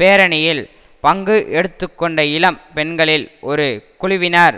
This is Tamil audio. பேரணியில் பங்கு எடுத்துகொண்ட இளம் பெண்களில் ஒரு குழுவினர்